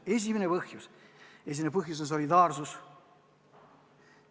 Esimene põhjus on solidaarsus.